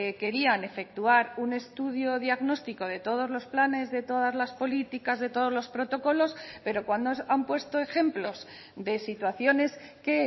querían efectuar un estudio diagnóstico de todos los planes de todas las políticas de todos los protocolos pero cuando han puesto ejemplos de situaciones que